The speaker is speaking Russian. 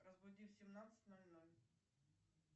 разбуди в семнадцать ноль ноль